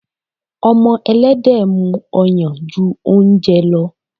Ọmọ Ẹlẹ́dẹ̀ mú ọyàn ju oúnjẹ lọ.